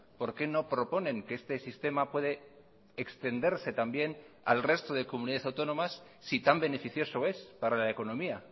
por qué no proponen que este sistema puede extenderse también al resto de comunidades autónomas si tan beneficioso es para la economía